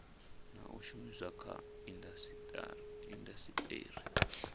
na u shumiswa kha indasiteri